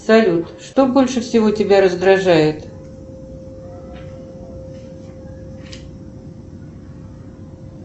салют что больше всего тебя раздражает